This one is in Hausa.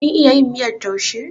Kin iya yin miyar taushe?